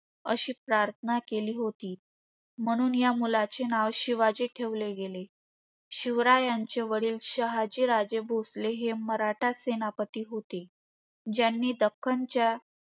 अशी प्रार्थना केली होती. म्हणून या मुलाचे नाव शिवाजी ठेवले गेले. शिवरायांचे वडील हे शहाजीराजे भोसले हे मराठा सेनापती होते.